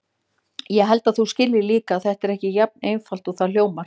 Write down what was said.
Ég held að þú skiljir líka að þetta er ekki jafn einfalt og það hljómar.